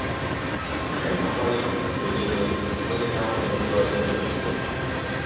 Anyị na - agbalị mgbe nile ịdị na - akwadọ ndị ọzọ n’ọkwụkwe.